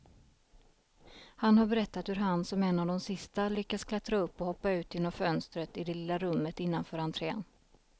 Han har berättat hur han som en av de sista lyckas klättra upp och hoppa ut genom fönstret i det lilla rummet innanför entrén.